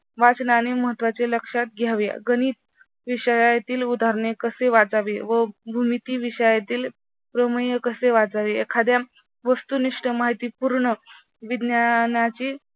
वाचनाने महत्त्वाचे लक्षात घ्यावे. गणित विषयातील उदाहरणे कसे वाचावे व भूमिती विषयातील प्रमेय कसे वाचावे एखाद्या वस्तुनिष्ठ माहितीपूर्ण विज्ञानातील